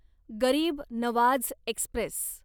गरीब नवाझ एक्स्प्रेस